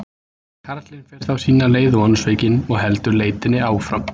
Karlinn fer þá sína leið vonsvikinn og heldur leitinni áfram.